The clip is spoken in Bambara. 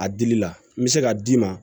A dili la n bɛ se ka d'i ma